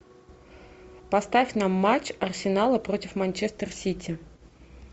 поставь нам матч арсенала против манчестер сити